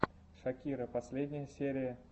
шакира последняя серия